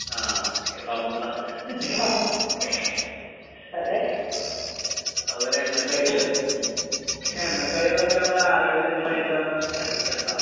ആഹ് എ സമൂസ. അതുപോലെ എണ്ണക്കടികള് ഉം. പക്ഷെ എണ്ണക്കടികളൊക്കെ നമ്മളെ ആരോഗ്യത്തിന് ഭയങ്കരം എഫ്ഫക്റ്റാണട്ടാ.